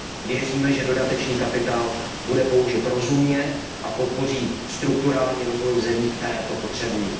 Věříme, že dodatečný kapitál bude použit rozumně a podpoří strukturální rozvoj v zemích, které to potřebují.